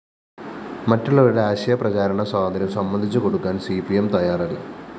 മറ്റുള്ളവരുടെ ആശയ പ്രചാരണ സ്വാതന്ത്ര്യം സമ്മതിച്ചുകൊടുക്കാന്‍ സി പി എം തയ്യാറല്ല